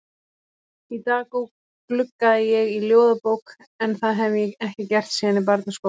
Í dag gluggaði ég í ljóðabók en það hef ég ekki gert síðan í barnaskóla.